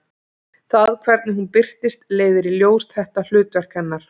Það hvernig hún birtist leiðir í ljós þetta hlutverk hennar.